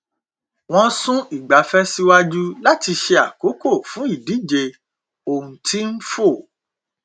wọn sún ìgbafẹ síwájú láti ṣe àkókò fún ìdíje ohun tí n fò